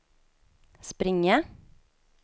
springa